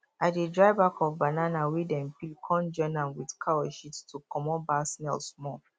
i dey dry back of banana wey dem peel con join am with cow shit to comot bad smell small